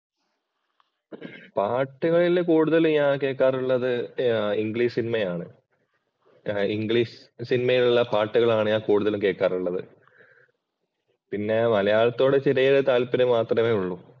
പാട്ടുകളിൽ കൂടുതൽ ഞാൻ കേക്കാറുള്ളത് ഇംഗ്ലീഷ് സിനിമയാണ്. ഇംഗ്ലീഷ് സിനിമയിൽ ഉള്ള പാട്ടുകളാണ് ഞാൻ കൂടുതലും കേക്കാറുള്ളത്. പിന്നെ മലയാളത്തോട് ചെറിയൊരു താല്പര്യം മാത്രമേ ഉള്ളൂ.